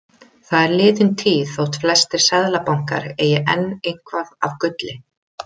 Það er liðin tíð þótt flestir seðlabankar eigi enn eitthvað af gulli.